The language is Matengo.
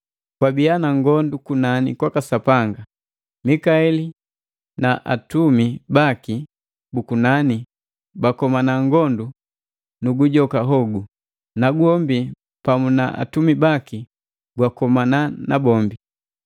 Kwabia na ngondu kunani kwaka Sapanga. Mikaeli na atumi baki bu kunani bakomana ngondu nu gujoka hogu, nagwombi pamu na atumi baki gwakomana nabombi.